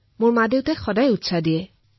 মোৰ অভিভাৱকে মোক উৎসাহিত কৰিছে